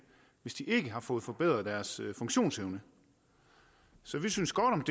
hvis de ikke har fået forbedret deres funktionsevne så vi synes godt om